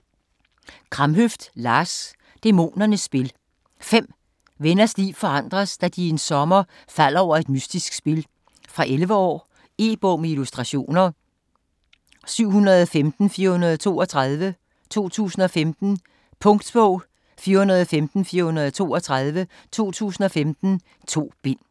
Kramhøft, Lars: Dæmonernes spil 5 venners liv forandres, da de en sommer falder over et mystisk spil. Fra 11 år. E-bog med illustrationer 715432 2015. Punktbog 415432 2015. 2 bind.